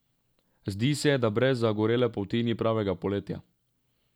Zdi se, da brez zagorele polti ni pravega poletja.